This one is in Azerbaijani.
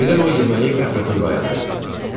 Birdən o yeməyi qəflətən dayandırdı.